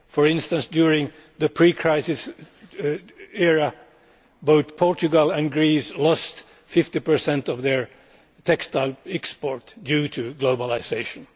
For instance, during the pre crisis era, both Portugal and Greece lost 50 of their textile exports due to globalisation.